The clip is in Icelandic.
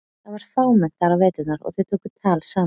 Það var fámennt þar á veturna og þau tóku tal saman.